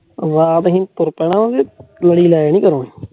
ਰਾਤ ਅਸੀਂ ਤੁਰ ਪੈਣਾ